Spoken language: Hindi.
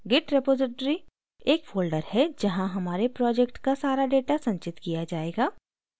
git repository एक folder है जहाँ हमारे project का सारा data संचित किया जायेगा